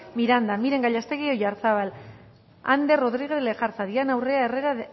miranda miren gallástegui oyarzábal ander rodriguez lejarza diana urrea herrera